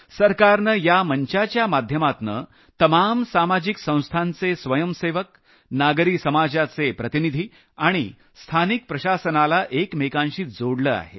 सरकारनं या मंचाच्या माध्यमातुन तमाम सामाजिक संस्थांचे स्वयंसेवक नागरी समाजाचे प्रतिनिधी आणि स्थानिक प्रशासनाला एकमेकांशी जोडलं आहे